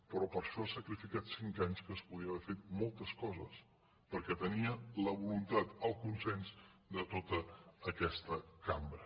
però per a això ha sacrificat cinc anys en què es podien haver fet moltes coses perquè tenia la voluntat el consens de tota aquesta cambra